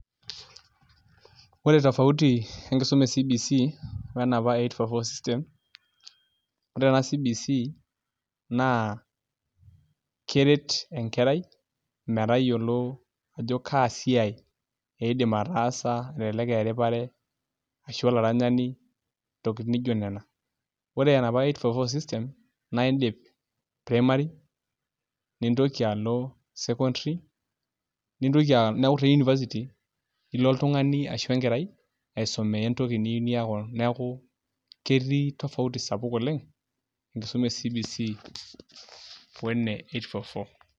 Ore tofauti enkisuma e CBC onepa o enapa e eight four four system ore ena CBC naa keret enkerai metayiolo ajo kaa siai iidim ataasa elelek aa eripare ashu olaranyani ntokitin nijiio nena ore enapa eight four four system naa iindip primary nintoki alo secondary neeku te university ilo oltung'ani ashu enkerai aisumiaa entoki niyieu niaku neeku ketii tofauti sapuk oleng' enkisuma e CBC o ene eight four four.